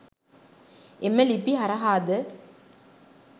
එම ලිපි හරහාද